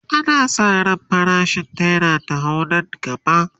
ana San ran farashin naira ta hau Nan gaba